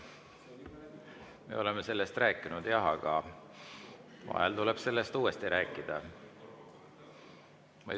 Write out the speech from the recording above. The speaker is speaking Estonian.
Me oleme sellest rääkinud jah, aga vahel tuleb sellest uuesti rääkida.